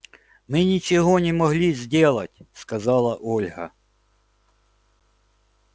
мы ничего не могли сделать сказала ольга